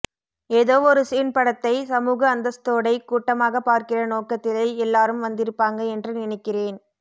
ஏதோ ஒரு சீன் படத்தை சமூக அந்தஸ்தோடை கூட்டமாகப் பார்க்கிற நோக்கத்திலை எல்லோரும் வந்திருப்பாங்க என்று நினைக்கிறேன்